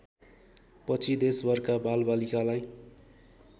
पछि देशभरका बालबालिकालाई